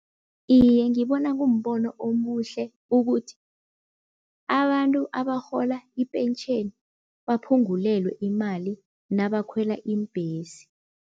Iye ngibona kumbono omuhle ukuthi abantu abarhola ipentjheni, baphungulelwe imali nabakhwela iimbhesi.